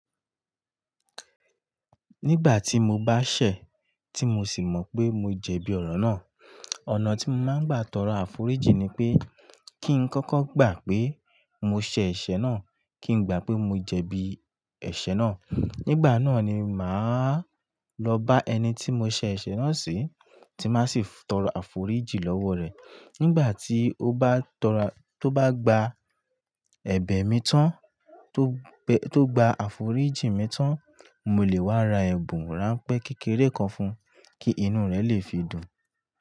Nígbà tí mo bá sẹ̀, tí mo sì mọ̀ pé mo jẹ̀bi ọ̀rọ̀ náà, ọ̀nà tí mo máa ń gbà tọrọ àforíjì ni pé kí n kọ́kọ́ gbà pé mo ṣẹ̀ ẹ̀ṣẹ̀ náà, kí n gbà pé mo jẹ̀bi ẹ̀ṣẹ̀ náà. Nígbà náà ni máa lọ bá ẹni tí mo ṣẹ̀ ẹ̀ṣẹ̀ náà sí, tí máa sì tọrọ àforíjì lọ́wọ́ rẹ̀. Nígbà tí ó bá tọrọ-- tó bá gba ẹ̀bẹ̀ mi tán, tó gbe-- tó gba àforíjì mi tán, mo lè wá ra ẹ̀bùn ránpẹ́ kékeré kan fún un kí inú rẹ̀ lè fi dùn.